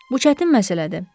Bu çətin məsələdir.